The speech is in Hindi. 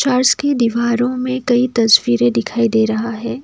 फर्श की दीवारों में कई तस्वीरें दिखाई दे रहा है।